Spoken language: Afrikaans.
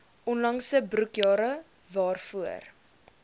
onlangse boekjare waarvoor